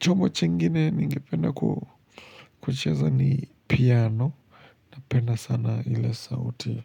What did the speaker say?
Chombo chingine ningependa kucheza ni piano. Penda sana ile sauti.